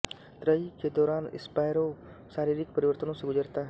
त्रयी के दौरान स्पैरो शारीरिक परिवर्तनों से गुजरता है